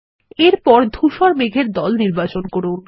এরপর ধুসর মেঘের দল নির্বাচন করুন